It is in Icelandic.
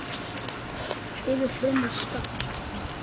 Yfir hrönn og skafl!